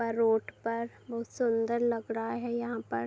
road पर बहुत सुन्‍दर लग रहा है यहाँ पर |